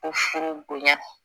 O furu bonya